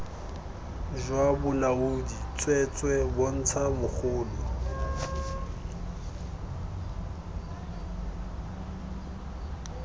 jwa bolaodi tsweetswee bontsha mogolo